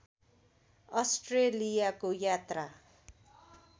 अस्ट्रेलियाको यात्रा